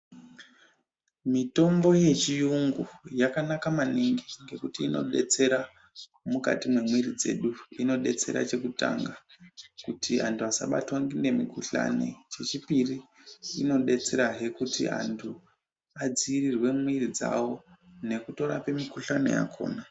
Mitombo yechiyungu yakanaka yambo ngekuti inodetsera mukati memuiri dzedu, inodetsera chekutanga kuti vantu vasabatwa ngemukuhlani, chechipiri inodetserazve kuti antu adziirirwe miiri dzavo ngekutorape mukuhlani yakona.